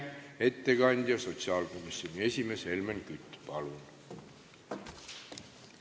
Ettekandja sotsiaalkomisjoni esimees Helmen Kütt, palun!